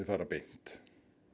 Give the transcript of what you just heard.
fara beint